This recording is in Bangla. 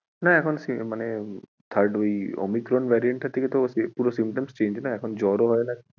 হ্যাঁ এখন মানে third ওই omicron variant তা থেকে তো পুরো symptoms change না এখন জ্বর ও হয়না